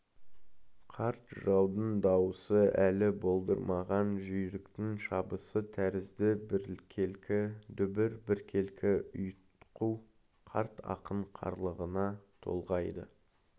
қарт жыраудың даусы әлі болдырмаған жүйріктің шабысы тәрізді біркелкі дүбір біркелкі ұйтқу қарт ақын қарлыға толғайды